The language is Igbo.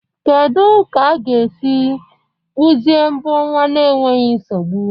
Kedu otu a ga-esi kpụzie mbọ nwa n'enweghị nsogbu?